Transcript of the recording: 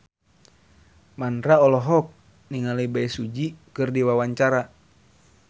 Mandra olohok ningali Bae Su Ji keur diwawancara